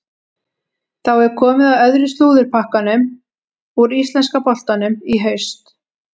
Þá er komið að öðrum slúðurpakkanum úr íslenska boltanum í haust.